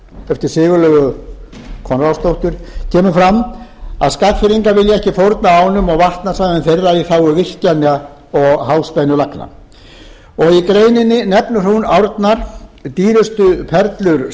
eftir sigurlaugu konráðsdóttur kemur fram að skagfirðingar vilji ekki fórna ánum og vatnasvæðum þeirra í þágu virkjana og háspennulagna í greininni nefnir hún árnar dýrustu perlur